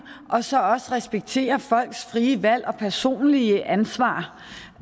og så også respektere folks frie valg og personlige ansvar